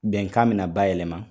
Bɛnkan bɛ na bayɛlɛma